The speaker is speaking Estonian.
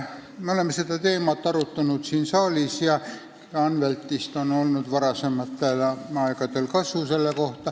Me oleme seda teemat siin saalis arutanud ja Anveltist on sel puhul varasematel aegadel kasu olnud.